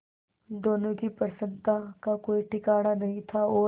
दोनों की प्रसन्नता का कोई ठिकाना नहीं था और